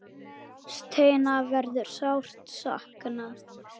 Steina verður sárt saknað.